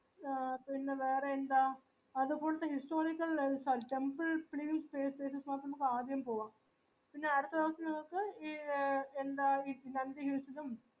historical life ആയ്‌രി temple place ലേക് നമ്ക് ആദ്യം പോകുവ പിന്നെ അട്ത്ത ദിവസം നിങ്ങക്ക് ഈ എന്താ നന്ദി hills ലും